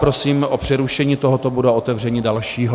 Prosím o přerušení tohoto bodu a otevření dalšího.